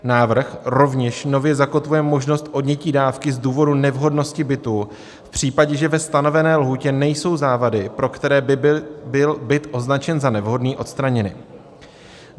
Návrh rovněž nově zakotvuje možnost odnětí dávky z důvodu nevhodnosti bytu v případě, že ve stanovené lhůtě nejsou závady, pro které by byl byt označen za nevhodný, odstraněny.